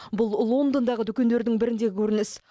бұл лондондағы дүкендердің біріндегі көрініс